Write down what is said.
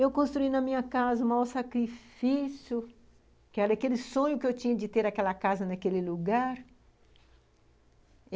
Eu construí na minha casa o maior sacrifício... que era aquele sonho que eu tinha de ter aquela casa naquele lugar...